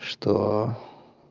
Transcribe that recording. что